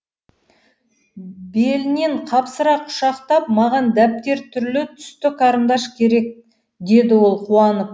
белінен қапсыра құшақтап маған дәптер түрлі түсті қарындаш керек деді ол қуанып